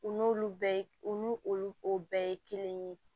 U n'olu bɛ u n'olu ko bɛɛ ye kelen ye